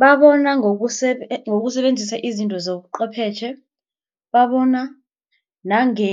Babona ngokusebenzisa izinto zobuchwephetjhe, babona nange